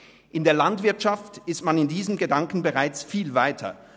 In der Landwirtschaft ist man mit diesem Gedanken bereits viel weiter.